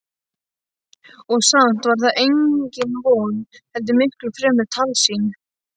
Og samt var það engin von heldur miklu fremur tálsýn.